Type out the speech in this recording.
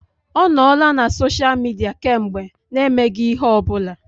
Ọ nọọla na sosha Midia kemgbe n'emeghị ihe ọ bụla.